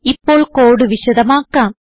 ഇപ്പോൾ കോഡ് വിശദമാക്കാം